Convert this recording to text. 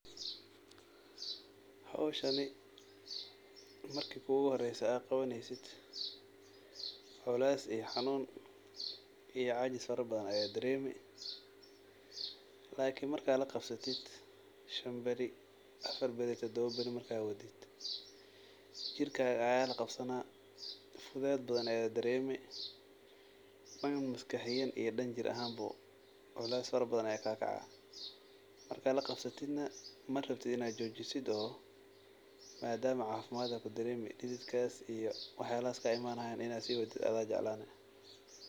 Howshani marki kugu horeyse aa qabaneysid culeys iyo xanuun iyo cajis fara badan ayad dareeni lakin markad la qabsatid afar beri shan beri tadaba beri markad wadid jirkaga aya la qabsana, fudeed badan ayad dareemi, dhan maskaxiyan iyo dhan jir ahan bo, culeys fara badan aya ka kacaa, markad laqabsatid na marabtid inad joojisid oo maadama caafimad ad kudareemi dhidiid kas iyo wax yalahas kaa imanayan inad sii wadid ada jeclani